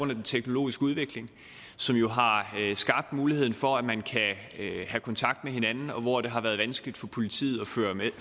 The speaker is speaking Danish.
den teknologiske udvikling som jo har skabt muligheden for at man kan have kontakt med hinanden og hvor det har været vanskeligt for politiet at